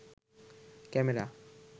camera